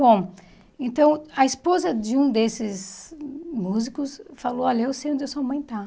Bom, então, a esposa de um desses músicos falou, olha, eu sei onde a sua mãe está.